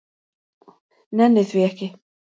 Nenni því ekki.